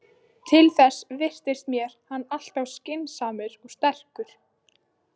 Til þess virtist mér hann alltof skynsamur og sterkur.